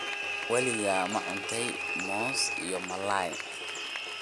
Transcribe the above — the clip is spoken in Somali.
Weligaa ma cuntay muus iyo malaay?